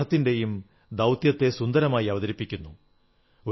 to remove the pain of the suffering and cheer the sad hertz